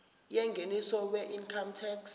yengeniso weincome tax